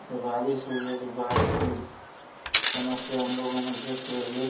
की बाढ़ की समस्या इन लोगो मे दिख रही है।